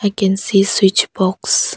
I can see switch box.